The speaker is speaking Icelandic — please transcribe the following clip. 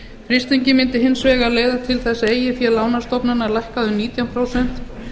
frystingin mundi hins vegar leiða til þess að eigið fé lánastofnana lækkaði um nítján prósent